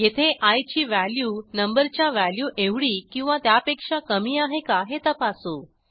येथे आय ची value number च्या व्हॅल्यू एवढी किंवा त्यापेक्षा कमी आहे का हे तपासू